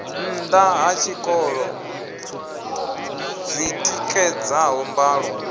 nnda ha tshikolo dzitikedzaho mbalo